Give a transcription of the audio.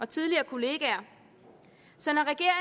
tidligere kollegaer så